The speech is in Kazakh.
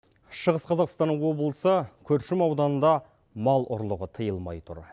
шығыс қазақстан облысы күршім ауданында мал ұрлығы тиылмай тұр